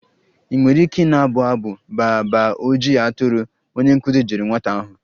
Ị nwere ike na-abụ abụ baa baa ojii atụrụ?, onye nkụzi jụrụ nwata ahụ.